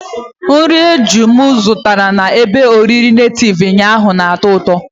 Nri eju m zụtara na ebe oriri nativu ụnyaahụ na-atọ ụtọ.